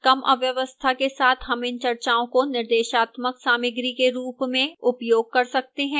कम अव्यवस्था के साथ हम इन चर्चाओं को निर्देशात्मक सामग्री के रूप में उपयोग कर सकते हैं